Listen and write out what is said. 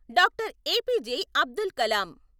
Doctor A P J. Abdul Kalam